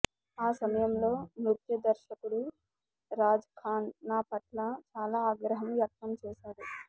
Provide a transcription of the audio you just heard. ఆ సమయంలో నృత్య దర్శకుడు రాజ్ ఖాన్ నా పట్ల చాలా ఆగ్రహం వ్యక్తం చేశాడు